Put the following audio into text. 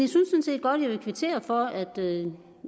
godt vil kvittere for at